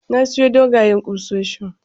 Na siyo dogayen kusoshin